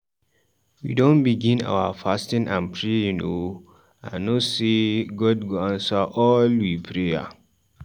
We don begin our fasting and praying o, I know sey God go answer all we prayer.